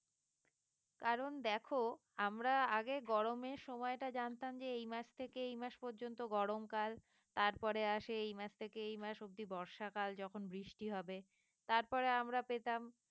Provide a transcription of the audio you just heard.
কারণ দেখো আমরা আগে গরমের সময়টা জানতাম যে এই মাস থেকে এই মাস পর্যন্ত গরমকাল তারপরে আসে এই মাস থেকে এই মাস অবদি বর্ষাকাল যখন বৃষ্টি হবে তারপরে আমরা পেতাম